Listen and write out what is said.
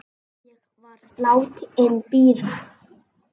Ég var látin bíða.